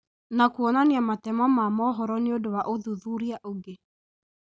Na kuonania matemo ma mohoro nĩũndũ wa ũthuthuria ũngĩ.